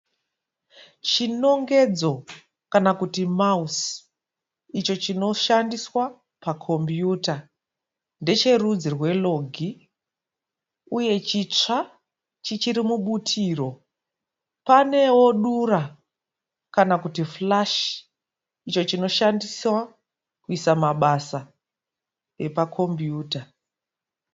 Chinongedzo kana kuti mausi, icho chinoshandiswa pa kombiyuta. Ndecherudzi rweLogi uye chitsva chichiri mubutiro. Paneo dura kana kuti Flash icho chinoshandiswa kuisa mabasa epakombiyuta.